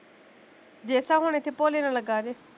ਜੇਸਾਂ ਹੁਣ ਇੱਥੇ ਭੋਲੇ ਨਾਲ਼ ਲੱਗਾ ਜੇ